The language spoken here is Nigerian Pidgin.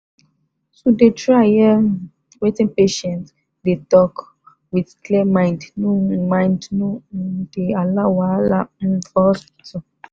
to dey try hear um wetin patient dey dey talk wit clear mind no um mind no um dey allow wahala um for hospital.